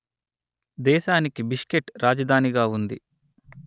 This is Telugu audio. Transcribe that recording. దేశానికి బిష్కెట్ రాజధానిగా ఉంది